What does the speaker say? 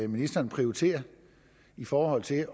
ministeren prioritere i forhold til